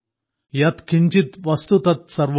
യത് കിഞ്ചിത് വസ്തു തത് സർവ്വം